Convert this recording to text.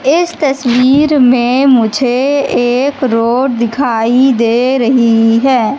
इस तस्वीर में मुझे एक रोड दिखाई दे रही है।